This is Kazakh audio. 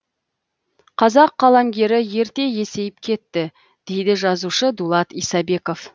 қазақ қаламгері ерте есейіп кетті дейді жазушы дулат исабеков